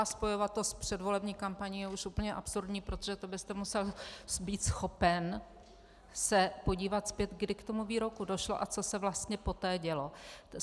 A spojovat to s předvolební kampaní je už úplně absurdní, protože to byste musel být schopen se podívat zpět, kdy k tomu výroku došlo a co se vlastně poté dělo.